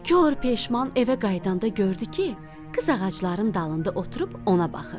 Kor peşman evə qayıdanda gördü ki, qız ağacların dalında oturub ona baxır.